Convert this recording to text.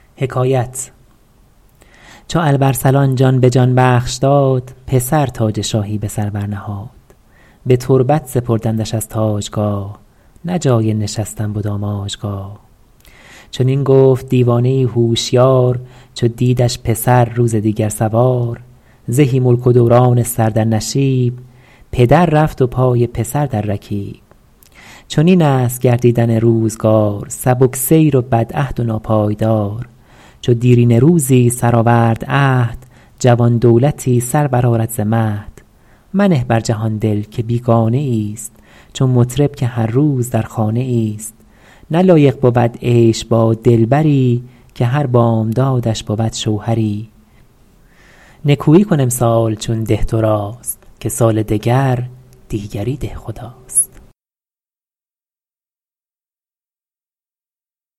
چو الب ارسلان جان به جان بخش داد پسر تاج شاهی به سر برنهاد به تربت سپردندش از تاجگاه نه جای نشستن بد آماجگاه چنین گفت دیوانه ای هوشیار چو دیدش پسر روز دیگر سوار زهی ملک و دوران سر در نشیب پدر رفت و پای پسر در رکیب چنین است گردیدن روزگار سبک سیر و بدعهد و ناپایدار چو دیرینه روزی سرآورد عهد جوان دولتی سر برآرد ز مهد منه بر جهان دل که بیگانه ای است چو مطرب که هر روز در خانه ای است نه لایق بود عیش با دلبری که هر بامدادش بود شوهری نکویی کن امسال چون ده تو راست که سال دگر دیگری دهخداست